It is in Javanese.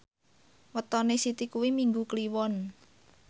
wetone Siti kuwi Minggu Kliwon